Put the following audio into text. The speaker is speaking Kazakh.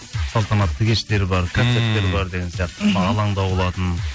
салатанатты кештер бар концерттер бар деген сияқты мхм алаңда болатын